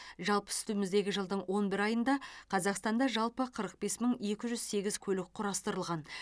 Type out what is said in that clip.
жалпы үстіміздегі жылдың он бір айында қазақстанда жалпы қырық бес мың екі жүз сегіз көлік құрастырылған